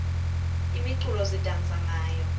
imiculo sidansa ngayo